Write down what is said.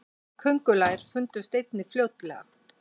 köngulær fundust einnig fljótlega